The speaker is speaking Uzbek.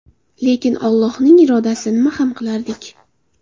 Lekin Allohning irodasi, nima ham qilardik.